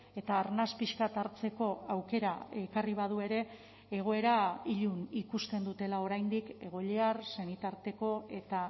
eta arnas pixka bat hartzeko aukera ekarri badu ere egoera ilun ikusten dutela oraindik egoiliar senitarteko eta